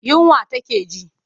Yunwa take ji.